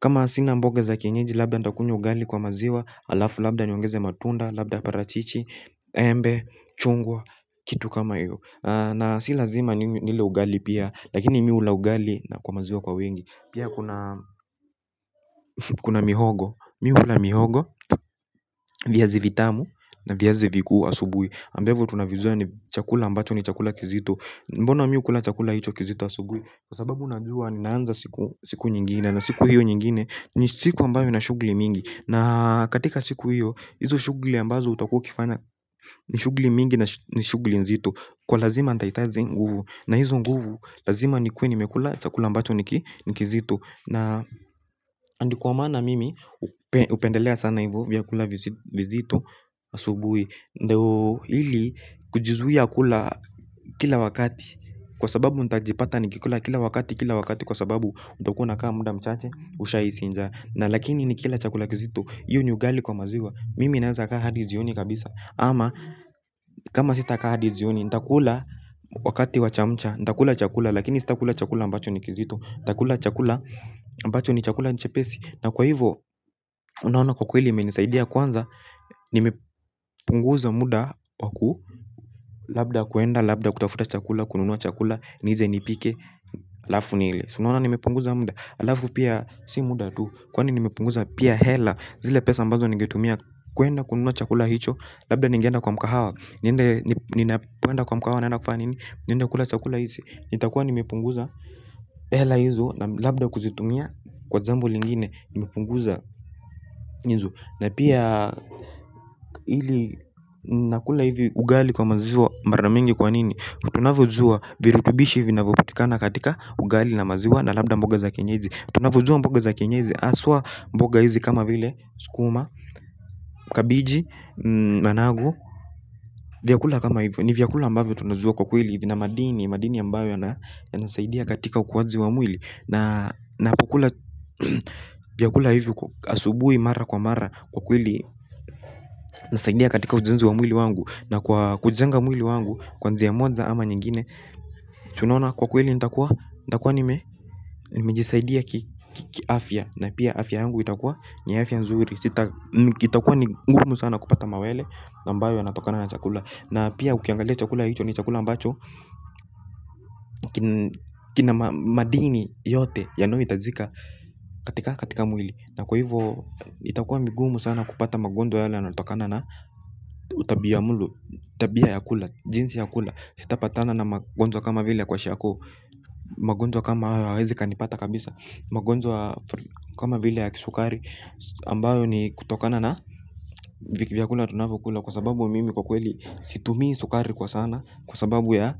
kama sina mboga za kienyezi labda nitakunywa ugali kwa maziwa hAlafu labda niongeze matunda. Labda parachichi embe, chungwa, kitu kama hiyo na si lazima nile ugali pia lakini mimi hula ugali kwa maziwa kwa wengi. Pia kuna mihogo Mi hula mihogo. Viazi vitamu na viazi vikuu asubuhi ambavyo tunavijua ni chakula ambacho ni chakula kizito. Mbona mimi hu kula chakula hicho kizito asubuhi kwa sababu najua ni naanza siku siku nyingine na siku hiyo nyingine. Ni siku ambayo ina shughli mingi na katika siku hiyo hizo shughli ambazo utakua ukifanya ni shughli mingi na shughli nzito kwa lazima nitahitaji nguvu na hizo nguvu lazima nikuwe nimekula chakula ambacho ni kizito na na ndio kwa maana mimi hupendelea sana hivo vya kula vizito asubuhi. Ndio ili kujizuia kula kila wakati kwa sababu ntajipata nikikula kila wakati kila wakati kwa sababu utakuwa una kaa muda mchache usha hisi njaa na lakini nikila chakula kizito hIyo ni ugali kwa maziwa. Mimi naweza kaa hadi jioni kabisa ama kama sita kaa hadi jioni nitakula wakati wachamcha nitakula chakula lakini sitakula chakula ambacho nikizito. Nitakula chakula ambacho nichepesi na kwa hivo unaona kwa kweli imenisaidia kwanza. Nime punguza muda waku labda kuenda labda kutafuta chakula kununua chakula niweze nipike hAlafu nile. Si unaona nime punguza muda alafu pia si muda tu kwani nime punguza pia hela. Zile pesa ambazo ninge tumia kuenda kununua chakula hicho. Labda ningeenda kwa mkahawa. Niende nina ponenda kwa mkahawa naenda kufanya nini. Niende kula chakula hizi. Nitakuwa nime punguza. Hela hizo labda kuzitumia kwa jambo lingine. Nime punguza nizu na pia ili nakula hivi ugali kwa maziwa mara mingi kwa nini unavyojua virutubishi vinavyopatikana katika ugali na maziwa nalabda mboga za kienyeji. Tunavyojua mboga za kienyeji haswa mboga hizi kama vile sukuma, kabiji, managu. Vyakula kama hivi nivyakula ambavyo tunajua kwa kweli hivi vina madini. Madini ambayo yana yanasaidia katika ukuwaji wamwili na kukula vyakula hivi asubuhi mara kwa mara kwa kweli inasaidia katika ujenzi wamwili wangu na kwa kujenga mwili wangu kwanzia ya moja ama nyingine si unaona kwa kweli nitakuwa nitakuwa ni mejisaidia kiafya na pia afya yangu itakuwa ni afya nzuri. Itakuwa ni ngumu sana kupata mawele na ambayo yanatokana na chakula na pia ukiangalia chakula hicho ni chakula ambacho kina madini yote yanayo hitajika. Katika katika mwili na kwa hivo itakuwa nigumu sana kupata magonjwa yale yana yanatokana na tabia mlo tabia yakula jinsi yakula. Sitapatana na magojwa kama vile kwashiako. Magojwa kama haya hayawezi yakanipata kabisa. Magonjwa kama vile ya kisukari ambayo ni kutokana na vyakula tunavyokula kwa sababu mimi kwa kweli situmii sukari kwa sana kwa sababu ya